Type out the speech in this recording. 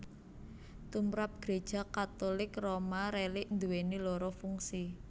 Tumrap Gréja Katulik Roma rélik nduwèni loro fungsi